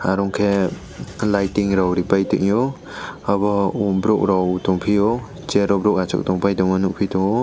aro khe lighting rok ripai tongio abo borok rok tongphio chair rok borok achukpai tongma nukphi tongo.